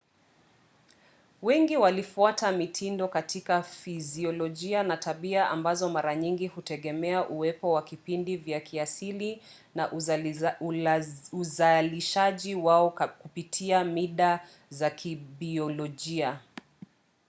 wengi walifuata mtindo katika fiziolojia na tabia ambazo mara nyingi hutegemea uwepo wa vipindi vya kiasili na uzalishaji wao kupitia mida za kibiolojia